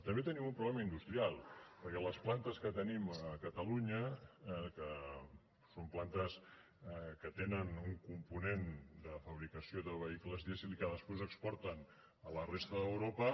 també tenim un problema industrial perquè les plantes que tenim a catalunya que són plantes que tenen un component de fabricació de vehicles dièsel i que després exporten a la resta d’europa